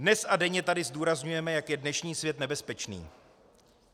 Dnes a denně tady zdůrazňujeme, jak je dnešní svět nebezpečný.